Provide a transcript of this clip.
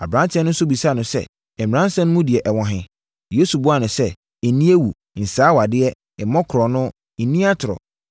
Aberanteɛ no nso bisaa no sɛ, “Mmaransɛm no mu deɛ ɛwɔ he?” Yesu buaa no sɛ, “Nni awu. Nsɛe awadeɛ. Mmɔ korɔno. Nni atorɔ.